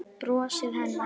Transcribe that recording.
Brosið hennar.